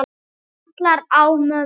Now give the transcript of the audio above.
Kallar á mömmu.